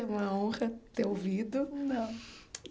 É uma honra ter ouvido. Não